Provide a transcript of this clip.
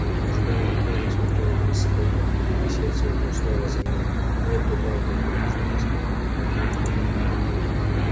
в ожидании его она смотрела вниз с холма и сердце у неё снова заныло нет неправда это убеждала себя она